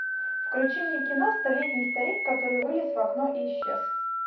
включи мне кино столетний старик который вылез в окно и исчез